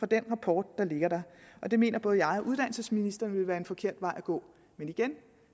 den rapport der ligger det mener både jeg og uddannelsesministeren vil være en forkert vej at gå